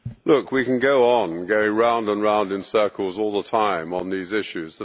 Look, we can go on and go round and round in circles all the time on these issues.